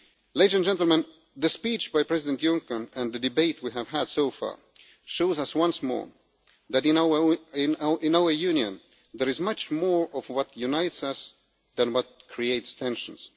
Ladies and gentlemen, the speech by President Juncker and the debate we have had so far shows us once more that in our Union there is much more of what unites us than what creates tensions.